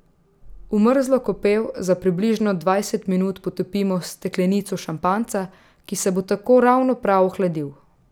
V mrzlo kopel za približno dvajset minut potopimo steklenico šampanjca, ki se bo tako ravno prav ohladil.